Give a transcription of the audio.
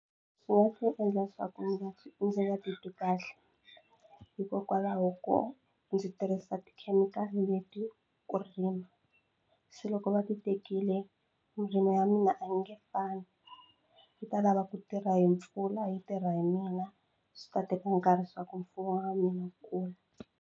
Swi nga ndzi endla swa ku ndzi nga titwi kahle hikokwalaho ko ndzi tirhisa tikhemikhali leti ku rima se loko va ti tekile murimi wa mina a ni nge fambi yi ta lava ku tirha hi mpfula yi tirha hi mina swi ta teka nkarhi swa ku mfumo wa mina wu kula.